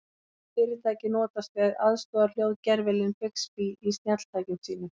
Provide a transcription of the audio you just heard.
Hvaða fyrirtæki notast við aðstoðarhljóðgervilinn Bixby í snjalltækjum sínum?